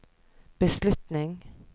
beslutning